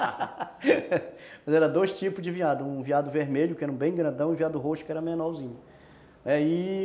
Mas eram dois tipos de veado, um veado vermelho, que era bem grandão, e um veado roxo, que era menorzinho.